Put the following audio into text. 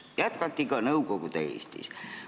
Seda jätkati ka Nõukogude Eestis.